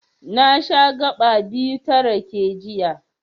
Na sha gaɓa biyu ta rake, jiya.